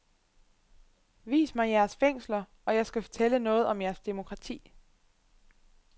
Vis mig jeres fængsler, og jeg skal fortælle noget om jeres demokrati.